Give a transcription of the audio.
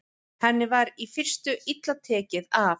Henni var í fyrstu illa tekið af